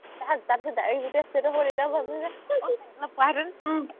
তাৰপিছত, তাৰপিছত direct ‌‌